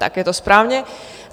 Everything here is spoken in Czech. Tak je to správně.